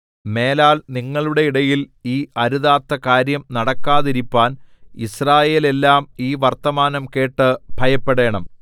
മേലാൽ നിങ്ങളുടെ ഇടയിൽ ഈ അരുതാത്ത കാര്യം നടക്കാതിരിപ്പാൻ യിസ്രായേലെല്ലാം ഈ വർത്തമാനം കേട്ട് ഭയപ്പെടേണം